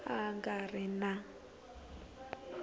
a a nga ri na